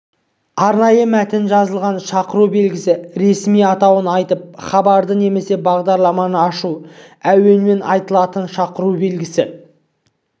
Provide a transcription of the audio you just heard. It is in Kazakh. арнайы мәтін жазылған шақыру белгісі ресми атауын айтып хабарды немесе бағдарламаны ашу әуенмен айтылатын шақыру белгісі